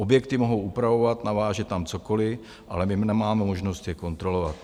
Objekty mohou upravovat, navážet tam cokoliv, ale my nemáme možnost je kontrolovat.